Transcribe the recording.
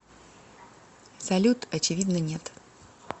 салют очевидно нет